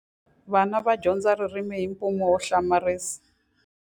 Vana va dyondza ririmi hi mpimo wo hlamarisa.